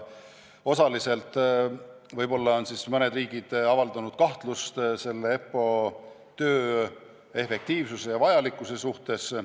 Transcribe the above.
Osaliselt on mõned riigid avaldanud kahtlust EPPO töö efektiivsuse ja vajalikkuse suhtes.